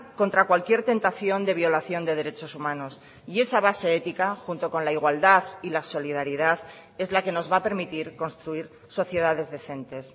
contra cualquier tentación de violación de derechos humanos y esa base ética junto con la igualdad y la solidaridad es la que nos va a permitir construir sociedades decentes